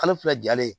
Kalo fila jalen